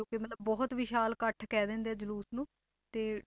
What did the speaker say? ਜੋ ਕਿ ਮਤਲਬ ਬਹੁਤ ਵਿਸ਼ਾਲ ਇਕੱਠ ਕਹਿ ਦਿੰਦੇ ਆ ਜਲੂਸ਼ ਨੂੰ ਤੇ